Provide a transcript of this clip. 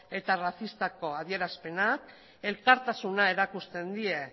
eta arrazistako adierazpenak elkartasuna erakusten die